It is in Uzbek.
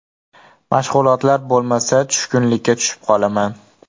Mashg‘ulotlar bo‘lmasa, tushkunlikka tushib qolaman.